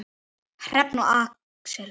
Hrefna og Axel.